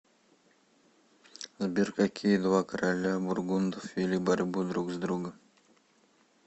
сбер какие два короля бургундов вели борьбу друг с другом